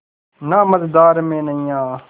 ना मझधार में नैय्या